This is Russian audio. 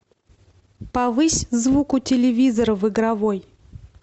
повысь звук у телевизора в игровой